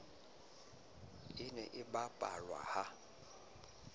e ne e bapalwa ha